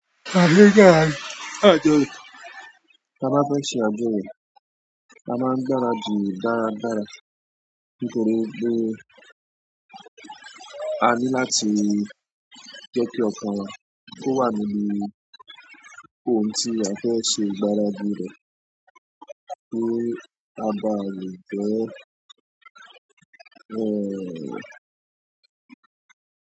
A gbúdọ̀ ráńṣẹ́ àjọyọ̀, ka máa fẹ́ ṣe àjọyọ̀, a máa ń gbárà dì dáradára. Nítorí wípé a ní láti jẹ́ kí ọkàn wa kó wà nínú ohun tí a fẹ́ ṣe ìgbáradì rẹ̀ kí a bá lè jẹ́